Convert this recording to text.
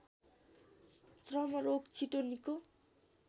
चर्मरोग छिटो निको